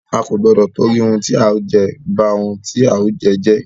A kò gbọdọ tìtorí ohun tí a ó jẹ, ba ohun tí a ó jẹ́ jẹ́.